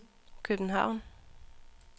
København